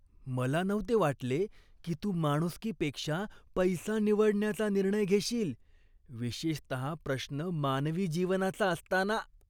मला नव्हते वाटले की तू माणुसकीपेक्षा पैसा निवडण्याचा निर्णय घेशील, विशेषतः प्रश्न मानवी जीवनाचा असताना.